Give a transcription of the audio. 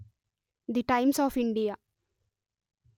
the times of India